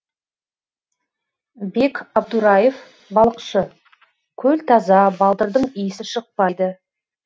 бек абдураев балықшы көл таза балдырдың иісі шықпайды